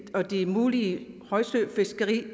og det mulige højsøfiskeri er